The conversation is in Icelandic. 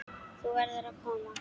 Þú verður að koma!